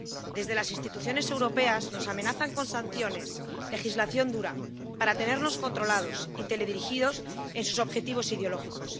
Desde las instituciones europeas nos amenazan con sanciones, legislación dura, para tenernos controlados y teledirigidos en sus objetivos ideológicos.